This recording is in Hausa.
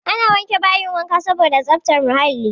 Ana wanke bayin wanka saboda tsaftar muhalli.